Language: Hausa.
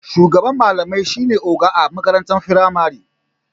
Shugaban malamai shine oga a makarantar firamari.